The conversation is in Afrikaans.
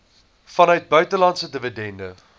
vanuit buitelandse dividende